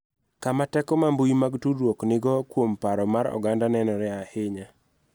Kama teko ma mbui mag tudruok nigo kuom paro mar oganda nenore ahinya